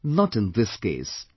But not in this case